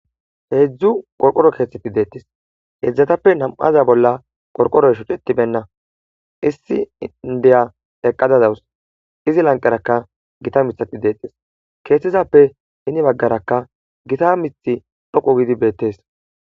heedzdzu qorqoro keeththetti deettis heedzdzatappe nam'aza bolla qorqoroy shucetibenna issi indiya eqqada dawus izi lanqerakka gita mithati deettes keethtizappe hini baggarakka gita mithi dhoqu gidi beettees